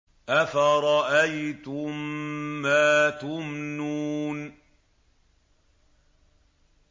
أَفَرَأَيْتُم مَّا تُمْنُونَ